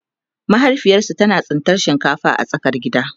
mahaifiyarsu tana tsintan shinkafa a tsakar gida